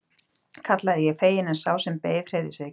kallaði ég fegin en sá sem beið hreyfði sig ekki.